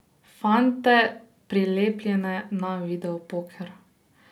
Fante, prilepljene na videopoker.